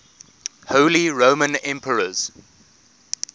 holy roman emperors